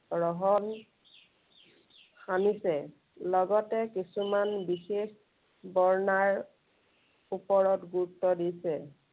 ৰহণ সানিছে। লগতে কিছুমান বিশেষ বৰ্ণাৰ ওপৰত গুৰুত্ব দিছে।